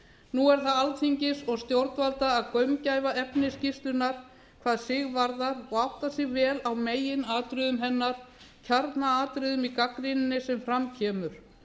nú er það alþingis og stjórnvalda að gaumgæfa efni skýrslunnar hvað sig varðar og átta sig vel á meginatriðum hennar kjarnaatriðunum í gagnrýninni sem fram kemur